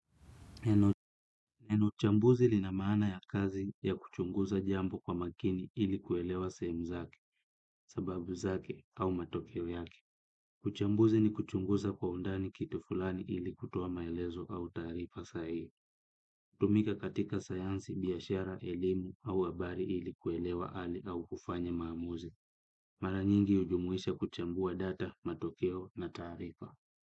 Neno chambuzi lina mana ya kazi ya kuchunguza jambo kwa makini ili kuelewa sehemu zake, sababu zake au matokeo yake. Uchambuzi ni kuchunguza kwa undani kitu fulani ili kutoa maelezo au taarifa sahihi. Hutumika katika sayansi biashara, elimu au habari ili kuelewa hali au kufanya maamuzi. Mara nyingi hujumuisha kuchambua data, matokeo na taarifa.